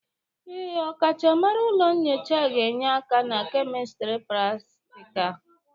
Ee, ọkachamara ụlọ nyocha ga-enye aka na kemistri pratịkal.